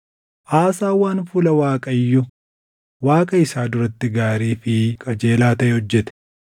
Aasaan waan fuula Waaqayyo Waaqa isaa duratti gaarii fi qajeelaa taʼe hojjete.